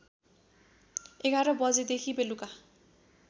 ११ बजेदेखि बेलुका